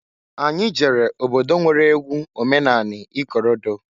Anyị jere obodo nwere egwu omenani ikorodo.